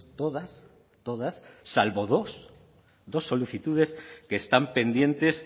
todas todas salvo dos dos solicitudes que están pendientes